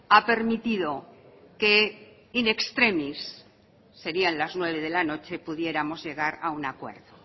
ha permitido que in extremis serían las nueve de la noche que pudiéramos llegar a un acuerdo